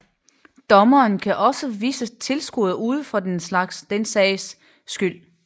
Dommeren kan også vise tilskuere ud for den sags skyld